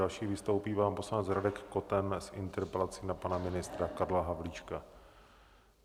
Další vystoupí pan poslanec Radek Koten s interpelací na pana ministra Karla Havlíčka.